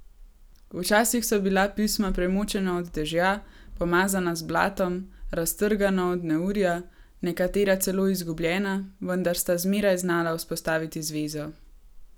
Včasih so bila pisma premočena od dežja, pomazana z blatom, raztrgana od neurja, nekatera celo zgubljena, vendar sta zmeraj znala vzpostaviti zvezo.